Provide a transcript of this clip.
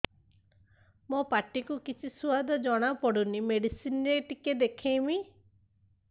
ମୋ ପାଟି କୁ କିଛି ସୁଆଦ ଜଣାପଡ଼ୁନି ମେଡିସିନ ରେ ଟିକେ ଦେଖେଇମି